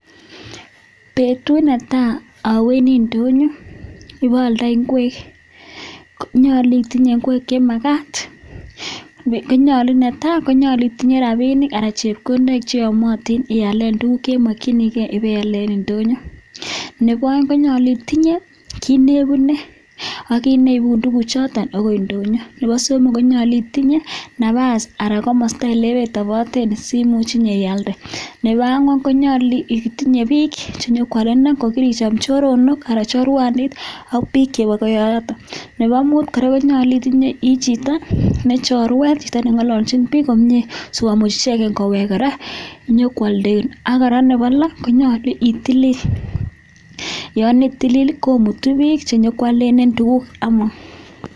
petut netaii awendii ndonyoo paalndeii ngweek koyachee akonyaluu itinyee rapishek cheyamee nep aek konyaluu itinyee kit nepaiipee tuguk chotok chekaiyal eng tugoshek ana ko ndonyooako koraaa koyache itinye chito nechorweet anan ko chii neingeen kongalalchii piik komnyeee